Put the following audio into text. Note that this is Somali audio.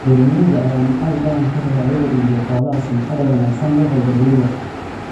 Beeralayda ayaa macaash badan ka hela iyaga oo ka iibiya xoolaha sumcadda wanaagsan leh ee beeralayda kale.